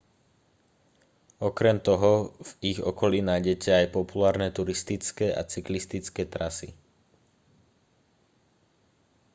okrem toho v ich okolí nájdete aj populárne turistické a cyklistické trasy